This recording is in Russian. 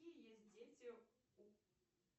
какие есть дети у